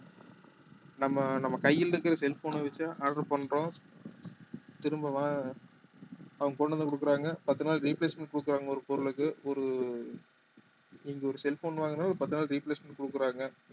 நம்ம நம்ம கையில இருக்கிற cell phone அ வச்சு order பண்றோம் திரும்ப வ~ அவங்க கொண்டு வந்து கொடுக்குறாங்க பத்து நாள் replacement கொடுக்குறாங்க ஒரு பொருளுக்கு ஒரு நீங்க ஒரு cell phone வாங்குனா ஒரு பத்து நாள் replacement கொடுக்குறாங்க